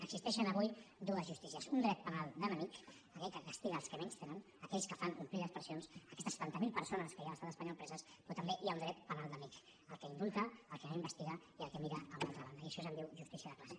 existeixen avui dues justícies un dret penal d’enemic aquell que castiga els que menys tenen aquells que fan omplir les presons aquestes setanta mil persones que hi ha a l’estat espanyol preses però també hi ha un dret penal d’amic el que indulta el que no investiga i el que mira a una altra banda i d’això se’n diu justícia de classe